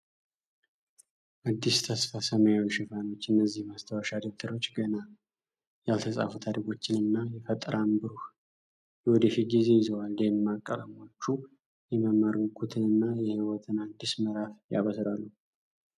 አዲስ የተስፋ ሰማያዊ ሽፋኖች። እነዚህ ማስታወሻ ደብተሮች ገና ያልተጻፉ ታሪኮችን እና የፈጠራን ብሩህ የወደፊት ጊዜ ይዘዋል። ደማቅ ቀለሞቹ የመማር ጉጉትንና የሕይወትን አዲስ ምዕራፍ ያበስራሉ።